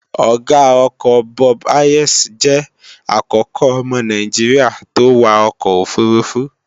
Ọ̀ga ọkọ̀ Bob Hayes jẹ́ àkọ́kọ́ ọmọ naijiria tó wa ọkọ̀ òfurufú